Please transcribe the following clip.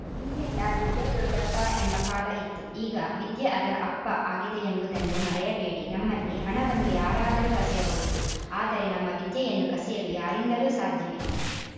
ಹಿಂದೆಲ್ಲಾ ದುಡ್ಡೇ ದೊಡ್ಡಪ್ಪ ಎಂಬ ಕಾಲ ಇತ್ತು ಈಗ ವಿದ್ಯೆ ಅದರ ಅಪ್ಪ ಆಗಿದೆಯೆಂಬುದನ್ನು ಮರೆಯಬೇಡಿ ನಮ್ಮಲ್ಲಿ ಹಣವನ್ನು ಯಾರಾದರೂ ಕಸಿಯಬಹುದು ಆದರೆ ನಮ್ಮ ವಿದ್ಯೆಯನ್ನು ಕಸಿಯಲು ಯಾರಿಂದಲೂ ಸಾಧ್ಯವಿಲ್ಲ